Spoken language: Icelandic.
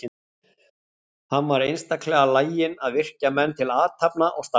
Hann var einstaklega laginn að virkja menn til athafna og starfa.